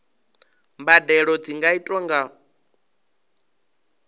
mbadelo dzi nga itwa nga